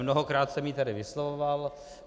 Mnohokrát jsem ji tady vyslovoval.